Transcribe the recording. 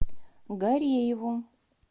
гарееву